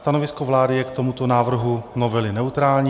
Stanovisko vlády je k tomuto návrhu novely neutrální.